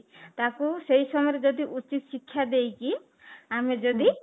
ତାକୁ ସେଇ ସମୟରେ ଯଦି ଉଚିତ ଶିକ୍ଷା ଦେଇକି ଆମେ ଯଦି